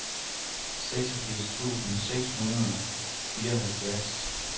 seksogfirs tusind seks hundrede og fireoghalvtreds